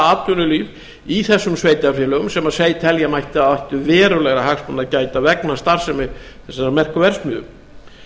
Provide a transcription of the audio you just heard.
atvinnulíf í þessum sveitarfélögum sem telja mætti að ættu verulegra hagsmuna að gæta vegna starfsemi þessarar merku verksmiðju